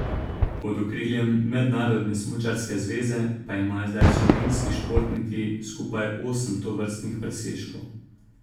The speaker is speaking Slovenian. Pod okriljem Mednarodne smučarske zveze pa imajo zdaj slovenski športniki skupaj osem tovrstnih presežkov.